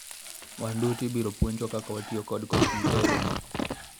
wan duto ibiro puonjwa kaka watiyo kod komputa e romo no